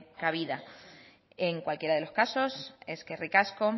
cabida en cualquiera de los casos eskerrik asko